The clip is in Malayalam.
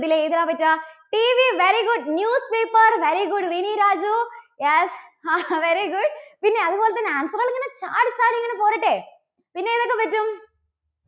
ഇതിൽ ഏതാ അതൊക്കെ? TVvery good, news paper very good Rini Raju, yes, very good പിന്നെ അതുപോലെതന്നെ answer കള് ഇങ്ങനെ ചാടിച്ചാടി ഇങ്ങനെ പോരട്ടെ. പിന്നെ ഏതൊക്കെ പറ്റും?